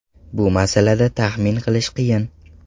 Bu masalada taxmin qilish qiyin.